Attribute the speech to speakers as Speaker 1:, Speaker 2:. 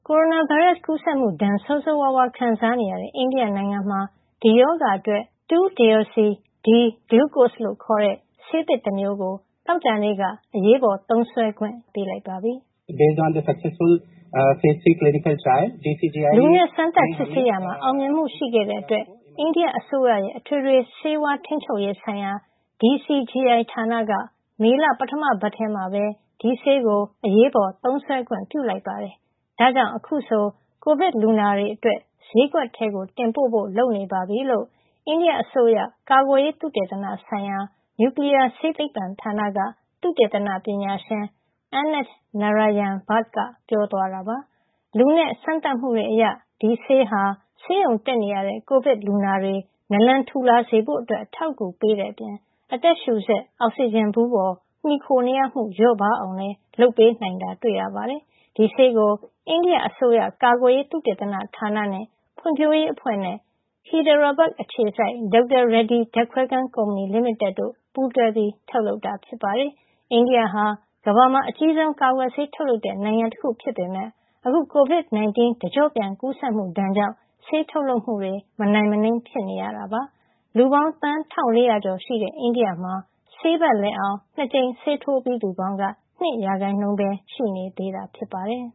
Speaker 1: ိုရိုနာဗိုင်းရပ်စ် ကူးစက်မှုဒဏ် ဆိုးဆိုးဝါးဝါး ခံစားနေရတဲ့ အိန္ဒိယနိုင်ငံမှာ ဒီရောဂါအတွက် 2-deoxy-D-glucose လို့ခေါ်တဲ့ ဆေးသစ်တမျိုးကို သောကြာနေ့က အရေးပေါ်သုံးစွဲခွင့် ပြုလိုက်ပါပြီ။
Speaker 2: “လူနဲ့ စမ်းသပ်စစ်ဆေးရာ
Speaker 1: မှာ အောင်မြင်မှုရှိခဲ့တဲ့အတွက် အိန္ဒိယအစိုးရရဲ့ အထွေထွေ ဆေးဝါးထိန်းချုပ်ရေးဆိုင်ရာ DCGI ဌာနက မေလ ပထမပတ်ထဲမှာပဲ ဒီဆေးကို အရေးပေါ်သုံးစွဲခွင့် ပြုလိုက်ပါတယ်။ ဒါကြောင့် အခုဆို ကိုဗစ်လူနာတွေအတွက် ဈေးကွက်ထဲကို တင်ဖို့ လုပ်နေပါပြီ။” လို့ အိန္ဒိယအစိုးရ ကာကွယ်ရေးသုတေသနဆိုင်ရာ နျူကလီးယားဆေးသိပ္ပံဌာနက သုတေသနပညာရှင် Anant Narayan Bhatt က ပြောသွားတာပါ။ လူနဲ့စမ်းသပ်မှုတွေအရ ဒီဆေးဟာ ဆေးရုံတက်နေရတဲ့ ကိုဗစ်လူနာတွေ နာလန်ထူလာစေဖို့ အထောက်အကူ ပေးတဲ့အပြင် အသက်ရှူစက် အောက်ဆီဂျင်ဘူးပေါ် မှီခိုရမှု လျော့အောင်လည်း လုပ်ပေးနိုင်တာ တွေ့ရပါတယ်။ ဒီဆေးကို အိန္ဒိယအစိုးရ ကာကွယ်ရေး သုတေသနဌာနနဲ့ ဖွံ့ဖြိုးရေးအဖွဲ့နဲ့ Hyderabad အခြေစိုက် Dr.Reddy ဓာတ်ခွဲခန်းကုမ္ပဏီ လီမိတက်တို့ ပူးတွဲထုတ်လုပ်တာ ဖြစ်ပါတယ်။ အိန္ဒိယဟာ ကမ္ဘာမှာ အကြီးဆုံး ကာကွယ်ဆေးထုတ်လုပ်တဲ့ နိုင်ငံတခုဖြစ်ပေမယ့် အခု COVID-19 တကျော့ပြန် ကူးစက်မှုဒဏ်ကြောင့် ဆေးထုတ်လုပ်မှု မနိုင်မနင်း ဖြစ်နေရတာပါ။ လူသန်းပေါင်း ၁,၄၀၀ ကျော်ရှိတဲ့ အိန္ဒိယမှာ ဆေးပတ်လည်အောင် ၂ ကြိမ် ဆေးထိုးပြီးသူပေါင်းက ၂ ရာခိုင်နှုန်းပဲ ရှိသေးတာဖြစ်ပါတယ်